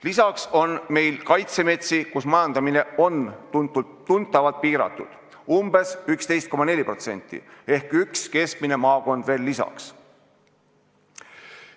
Lisaks on meil kaitsemetsi, kus majandamine on tuntavalt piiratud: umbes 11,4% ehk üks keskmine maakond veel lisaks.